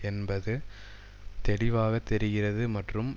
என்பது தெளிவாக தெரிகிறது மற்றும்